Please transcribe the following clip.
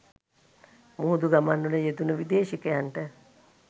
මුහුදු ගමන්වල යෙදුණ විදේශිකයන්ට